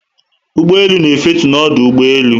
Ụgbọelu na efetu na ọdụ ụgbọelu